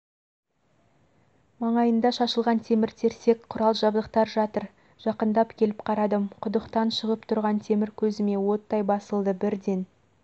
маңайында шашылған темір-терсек құрал-жабдықтар жатыр жақындап келіп қардым құдықтан шығып тұрған темір көзіме оттай басылды бірден